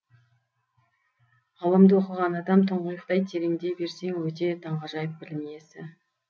ғылымды оқыған адам тұңғиықтай тереңдей берсең өте таңғажайып білім иесі